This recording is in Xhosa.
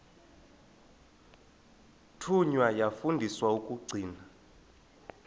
thunywa yafundiswa ukugcina